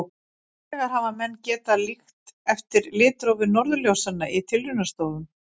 Hins vegar hafa menn getað líkt eftir litrófi norðurljósanna í tilraunastofum.